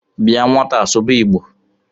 Bịa nwataa sụba Igbo